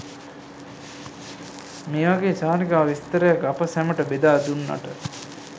මේ වගේ චාරිකා විස්තරයක් අප සැමට බෙදා දුන්නට